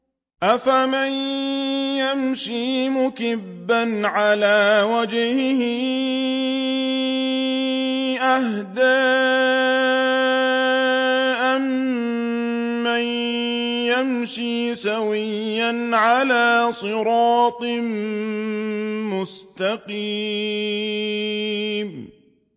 أَفَمَن يَمْشِي مُكِبًّا عَلَىٰ وَجْهِهِ أَهْدَىٰ أَمَّن يَمْشِي سَوِيًّا عَلَىٰ صِرَاطٍ مُّسْتَقِيمٍ